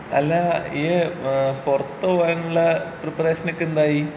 അല്ലാ ഇയ്യ് ഏഹ് പൊറത്ത് പോവാനുള്ള പ്രിപ്പറേഷനൊക്കെ എന്തായി?